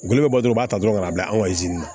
Gɔlo be bɔ dɔrɔn u b'a ta dɔrɔn k'a bila anw na